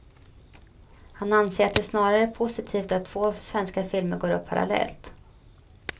Han anser att det snarare är positivt att två svenska filmer går upp parallellt.